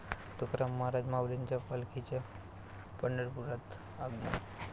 तुकाराम महाराज, माऊलींच्या पालखीचं पंढरपुरात आगमन